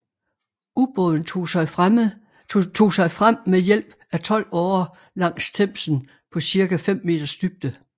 Ubåden tog sig frem med hjælp af tolv årer langs Themsen på ca 5 meters dybde